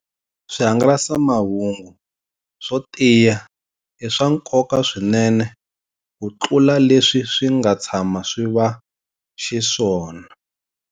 Swihangalasamahungu swo tiya i swa nkoka swinene kutlula leswi swi nga tshama swi va xiswona.